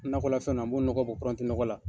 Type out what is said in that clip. Nakɔlafɛn na n b'o nɔgɔ bɔ la.